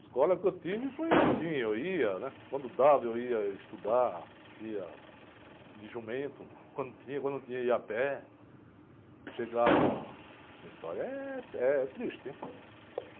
Escola que eu tive foi assim, eu ia, né? Quando dava eu ia estudar, ia de jumento, quando tinha, quando não tinha ia a pé, chegava... Minha história é essa, é triste, hein?